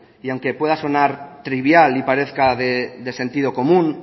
y aunque pueda sonar trivial y parezca de sentido común